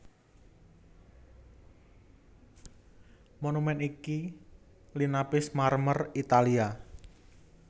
Monumèn iki linapis marmer Italia